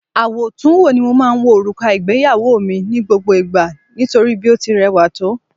Àwòtúnwò ni mo máa ń wo òrùka ìgbéyàwó mi ní gbogbo ìgbà nítorí bí ó ti rẹwà tó